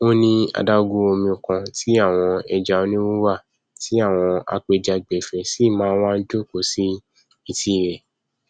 ó ní adágún omi kan tí àwọn ẹja onírúirú wà tí àwọn apẹjagbafẹ sì máa nwa jòkó sí etí ẹ